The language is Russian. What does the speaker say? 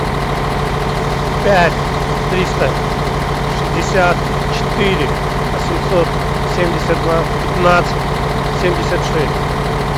пять триста шестьдесят четыре восемьсот семьдесят два пятнадцать семьдесят шесть